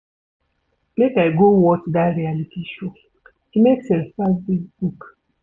Make I go watch dat reality show, e make sense pass dis book.